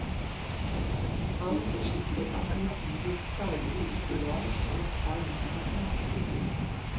Han forsikret at motivet for planene ikke var å ta livet av trikken.